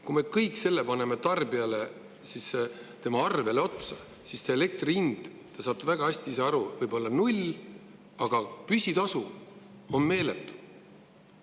Kui me selle kõik paneme tarbija arvele otsa, siis elektri hind, te saate väga hästi ise aru, võib olla null, aga püsitasu on meeletu.